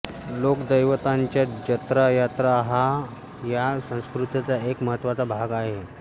लोकदैवतांच्या जत्रा यात्रा हा या संस्कृतीचा एक महत्त्वाचा भाग आहे